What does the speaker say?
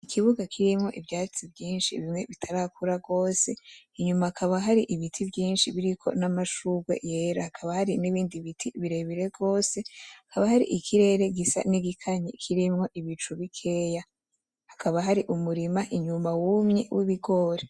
Ikibuga kirimwo ivyatsi vyinshi bimwe bitarakura gose inyuma hakaba hari ibiti vyinshi biriko n'amashurwe yera hakaba n'ibindi bitegwa birebire gose, ikirere gisa n'igikanye kirimwo n'ibicu bikeya, n'umurima inyuma wumye w'ibigori.